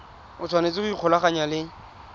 o tshwanetse go ikgolaganya le